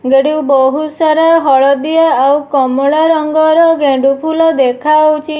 ଗାଡ଼ିରେ ବହୁତ୍ ସାରା ହଳଦିଆ ଆଉ କମଳା ରଙ୍ଗର ଗେଣ୍ଡୁଫୁଲ ଦେଖାଯାଉଛି।